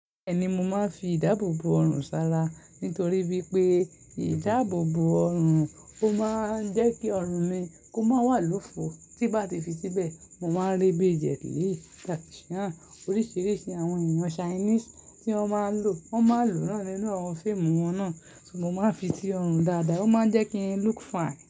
Mo máa ń fi ìdáàbòbò ọrùn ṣara nítorí wípé ìdáàbòbò ọrùn ó máa jẹ́ kí ọrùn mi kó máa wà lófo tí bá ti fi síbẹ̀, mo máa rí bí Jet Li, Jack Chan, oríṣiríṣi àwọn èèyàn Chinese tí wọ́n máa ń lò, wọ́n máa lò náà nínú àwọn fíìmù wọn náà. Mo máa ń fi sí ọrùn dáadáa, ó máa ń jẹ́ kíi look fine.